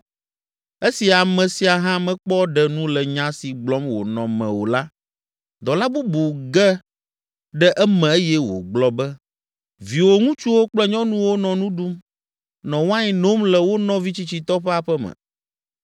Esi ame sia hã mekpɔ ɖe nu le nya si gblɔm wònɔ me o la, dɔla bubu ge ɖe eme eye wògblɔ be, “Viwò ŋutsuwo kple nyɔnuwo nɔ nu ɖum, nɔ wain nom le wo nɔvi tsitsitɔ ƒe aƒe me.